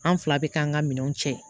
An fila bɛ k'an ka minɛnw cɛ